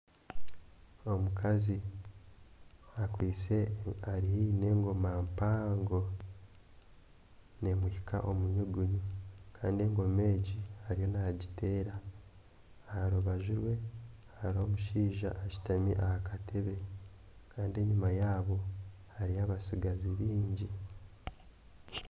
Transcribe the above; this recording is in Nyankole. Omukazi ari haihi n'emgoma mpango, neemuhika omu nyugunyu kandi engoma egi ariyo naagiteera aha rubaju rwe hariho omushaija ashutami aha katebe kandi enyima yaabo hariyo abatsigazi baingi